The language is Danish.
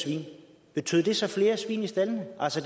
svin betød det så flere svin i staldene altså